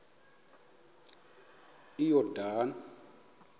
iyordane